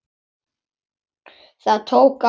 Það tók á.